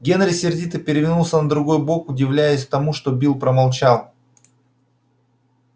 генри сердито перевернулся на другой бок удивляясь тому что билл промолчал